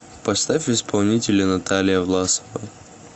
поставь исполнителя наталия власова